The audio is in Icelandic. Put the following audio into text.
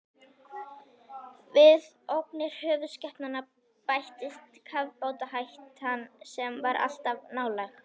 Við ógnir höfuðskepnanna bættist kafbátahættan, sem var alltaf nálæg.